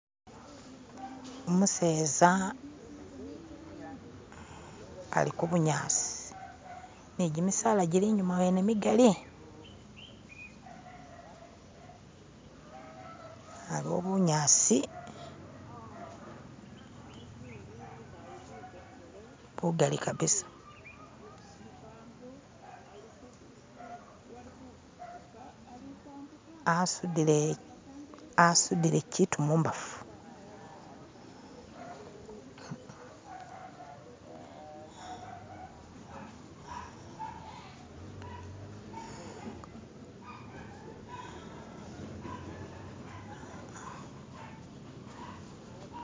Umuseza ali kubunyasi ne jimisala gili inyuma wene migali, aliwo bunyasi bugali kabisa, asudile kitu mumbafu.